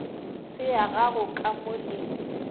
se yago ka mo le